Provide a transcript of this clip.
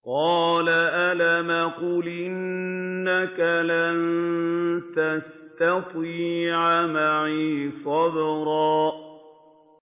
قَالَ أَلَمْ أَقُلْ إِنَّكَ لَن تَسْتَطِيعَ مَعِيَ صَبْرًا